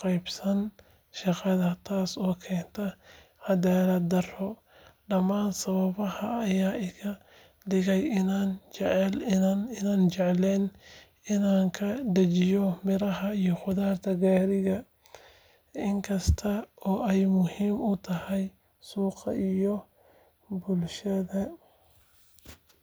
qaybsan shaqada, taasoo keenta cadaalad darro. Dhammaan sababahan ayaa iga dhigaya inaanan jeclayn inaan ka dajiyo miraha iyo khudradda gaariga, inkasta oo ay muhiim u tahay suuqa iyo bulshada.